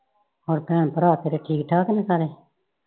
ਹੋਰ ਭੈਣ ਭਰਾ ਤੇਰੇ ਠੀਕ ਨੇ ਸਾਰੇ?